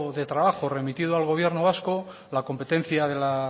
de trabajo remitido al gobierno vasco la competencia de la